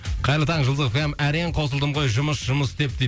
қайырлы таң жұлдыз эф эм әрең қосылдым ғой жұмыс жұмыс деп дейді